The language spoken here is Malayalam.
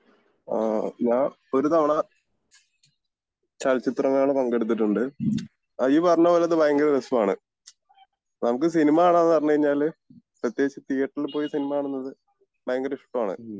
അഹ് ഞാൻ ഒരു തവണ ചലച്ചിത്ര മേള പങ്കെടുത്തിട്ടുണ്ട് ഇയി പറഞ്ഞപോലെ അത് ഭയങ്കര രസമാണ് നമുക്ക് സിനിമ കാണാന്ന് പറഞ്ഞ് കഴിഞ്ഞാല് പ്രത്യേകിച്ച് തീയറ്ററിൽ പോയി സിനിമ കാണുന്നത് ഭയങ്കര ഇഷ്ടാണ്